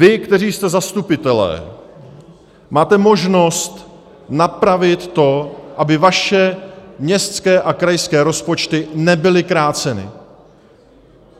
Vy, kteří jste zastupitelé, máte možnost napravit to, aby vaše městské a krajské rozpočty nebyly kráceny.